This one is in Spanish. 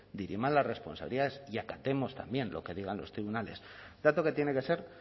diriman las responsabilidades y acatemos también lo que digan los tribunales dato que tiene que ser